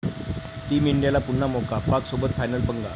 Team इंडियाला पुन्हा 'मौका', पाकसोबत फायनल 'पंगा'!